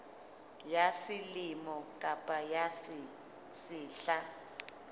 ya selemo kapa ya sehla